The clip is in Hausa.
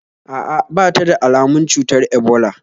A'a, ba ta da almun cutar ebola